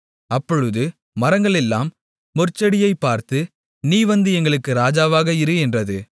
அப்பொழுது மரங்களெல்லாம் முட்செடியைப் பார்த்து நீ வந்து எங்களுக்கு ராஜாவாக இரு என்றது